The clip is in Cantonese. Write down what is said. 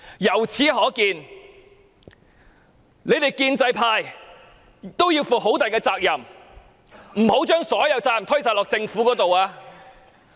由此可見，建制派同樣要為亂局負上極大責任，不能將所有責任推卸到政府身上。